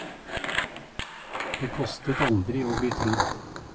Det kostet aldri å bli trodd.